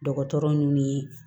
Dɔgɔtɔrɔ munnu ye